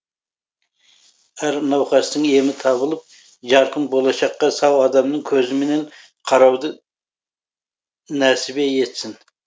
әр науқастың емі табылып жарқын болашаққа сау адамның көзімен қарауды нәсібе етсін